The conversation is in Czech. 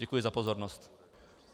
Děkuji za pozornost.